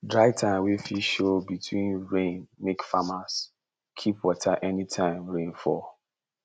dry time wey fit show between rain make farmers keep water anytime rain fall